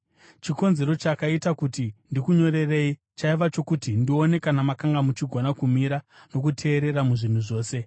Chikonzero chakaita kuti ndikunyorerei chaiva chokuti ndione kana makanga muchigona kumira nokuteerera muzvinhu zvose.